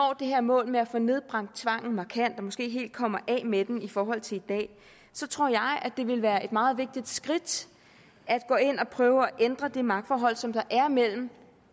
det her mål med at få nedbragt tvangen markant og måske helt kommer af med den i forhold til i dag så tror jeg at det vil være et meget vigtigt skridt at gå ind og prøve at ændre det magtforhold som der er mellem